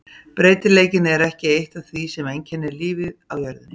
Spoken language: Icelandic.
Breytileikinn er eitt af því sem einkennir lífið á jörðinni.